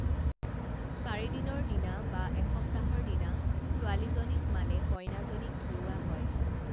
চাৰিদিনৰ দিনা বা এসপ্তাহৰ দিনা ছোৱালীজনীক মানে কইনাজনীক ধুওৱা হয়